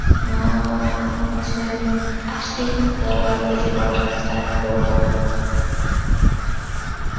অ্যাঁ হচ্ছে আসছি, তো ভাবতেসি পড়াশোনা start করবো